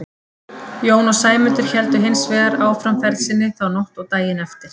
Jón og Sæmundur héldu hins vegar áfram ferð sinni þá nótt og daginn eftir.